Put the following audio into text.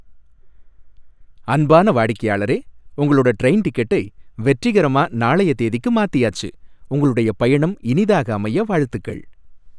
அன்பான வாடிக்கையாளரே! உங்களோட ட்ரெயின் டிக்கெட்டை வெற்றிகரமா நாளைய தேதிக்கு மாத்தியாச்சு. உங்களுடைய பயணம் இனிதாக அமைய வாழ்த்துகள்!